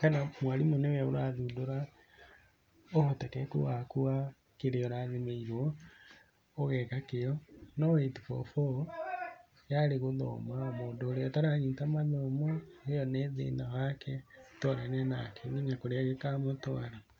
kana mwarimũ nĩwe ũrathundũra ũhotekeku waku wa kĩrĩa ũrathimĩirwo ũgeka kĩo, no eight-four-four yarĩ gũthoma mũndũ ũria ũtaranyita mathomo ĩyo nĩ thĩna wake nĩatwarane nake nginya kũrĩa gĩkamũtwara.